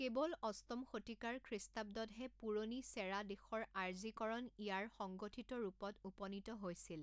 কেৱল অষ্টম শতিকাৰ খ্ৰীষ্টাব্দতহে পুৰণি চেৰা দেশৰ আৰ্যীকৰণ ইয়াৰ সংগঠিত ৰূপত উপনীত হৈছিল।